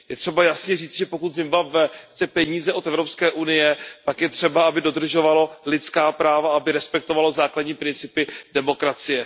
Je třeba jasně říct, že pokud Zimbabwe chce peníze od EU, pak je třeba, aby dodržovalo lidská práva, aby respektovalo základní principy demokracie.